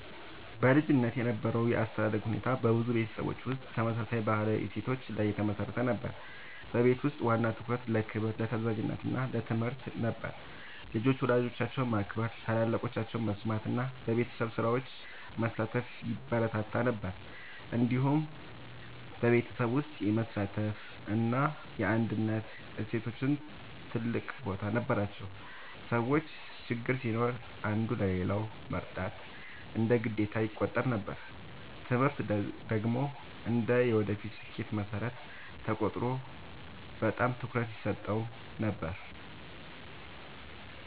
በልጅነት የነበረው የአስተዳደግ ሁኔታ በብዙ ቤተሰቦች ውስጥ ተመሳሳይ ባህላዊ እሴቶች ላይ የተመሠረተ ነበር። በቤት ውስጥ ዋና ትኩረት ለክብር፣ ለታዛዥነት እና ለትምህርት ነበር። ልጆች ወላጆቻቸውን ማክበር፣ ታላላቆቻቸውን መስማት እና በቤተሰብ ስራዎች መሳተፍ ይበረታታ ነበር። እንዲሁም በቤተሰብ ውስጥ የመተሳሰብ እና የአንድነት እሴቶች ትልቅ ቦታ ነበራቸው። ሰዎች ችግር ሲኖር አንዱ ለሌላው መርዳት እንደ ግዴታ ይቆጠር ነበር። ትምህርት ደግሞ እንደ የወደፊት ስኬት መሠረት ተቆጥሮ በጣም ትኩረት ይሰጠው ነበር።